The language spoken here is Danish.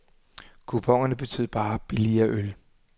Kuponerne betød bare billigere øl.